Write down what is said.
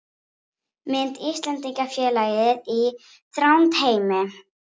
Við segjum þá einfaldlega að krafturinn sé jafn massa sinnum hröðun.